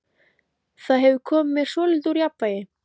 Það hefur komið mér svolítið úr jafnvægi.